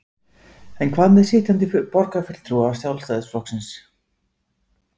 En hvað með sitjandi borgarfulltrúa Sjálfstæðisflokksins?